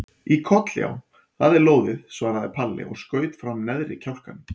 Í koll já, það er lóðið, svaraði Palli og skaut fram neðri kjálkanum.